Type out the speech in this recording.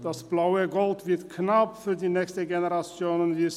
Das blaue Gold wird knapp für die nächste Generation.